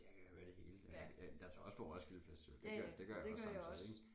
Jeg kan høre det hele jeg jeg tager også på Roskilde festival det gør det gør jeg også samtidig ik